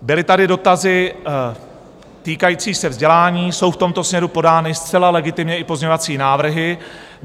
Byly tady dotazy týkající se vzdělání, jsou v tomto směru podány zcela legitimně i pozměňovací návrhy.